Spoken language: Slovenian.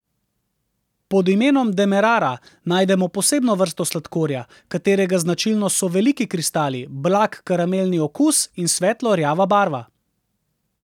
Pod imenom demerara najdemo posebno vrsto sladkorja, katerega značilnost so veliki kristali, blag karamelni okus in svetlo rjava barva.